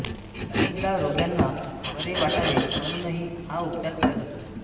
अनेकदा रोग्यांना बरे वाटावे म्हणूनही हा उपचार केला जातो